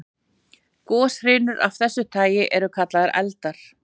Goshrinur af þessu tagi eru kallaðar eldar.